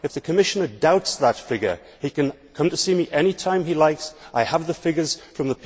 If the Commissioner doubts that figure, he can come to see me any time he likes I have the figures from the people working in the sector.